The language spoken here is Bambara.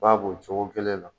I b'a b'o cogo kelen la